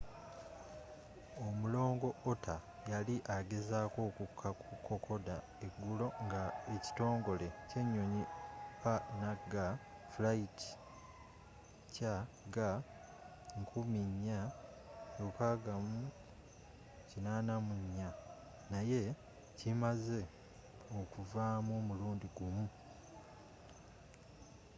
omulongo otter yali agezaako okukka ku kokoda eggulo nga ekitongole ky'ennyonyi png flight cg4684 naye kimaze okuvaamu omulundi gumu